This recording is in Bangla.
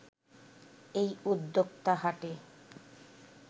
এই উদ্যোক্তা হাটে